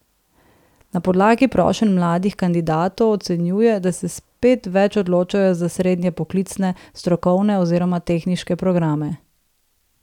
Na podlagi prošenj mladih kandidatov ocenjuje, da se spet več odločajo za srednje poklicne, strokovne oziroma tehniške programe.